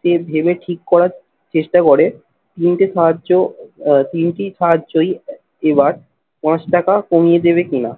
সে ভেবে ঠিক করার চেষ্টা করে তিনটে সাহায্য আহ তিনটি সাহায্যই এবার পাঁচ টাকা কমিয়ে দেবে কিনা